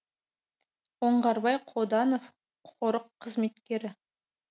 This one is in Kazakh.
оңғарбай қоданов қорық қызметкері